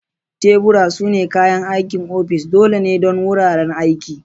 Tebura sune kayan aikin ofis dole ne don wuraren aiki.